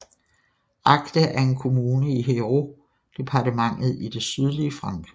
Agde er en kommune i Hérault departmentet i det sydlige Frankrig